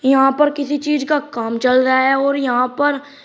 यहां पर किसी चीज का काम चल रहा है और यहां पर --